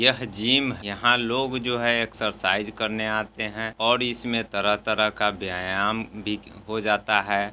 यह जिम है। यहाँ लोग जो है एक्सरसाइज करने आते है और इसमें तरह-तरह का व्यायाम भी हो जाता है।